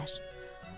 Dedilər: